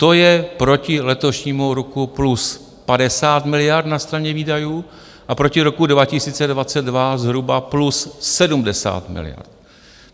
To je proti letošnímu roku plus 50 miliard na straně výdajů a proti roku 2022 zhruba plus 70 miliard.